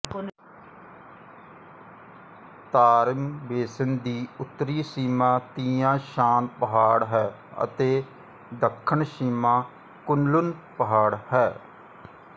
Tarim Basin ਦੀ ਉੱਤਰੀ ਸੀਮਾ ਤੀਆਂ ਸ਼ਾਨ ਪਹਾੜ ਹੈ ਅਤੇ ਦੱਖਣ ਸੀਮਾ ਕੁਨਲੁਨ ਪਹਾੜ ਹੈ